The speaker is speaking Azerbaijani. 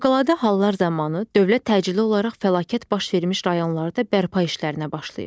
Fövqəladə hallar zamanı dövlət təcili olaraq fəlakət baş vermiş rayonlarda bərpa işlərinə başlayır.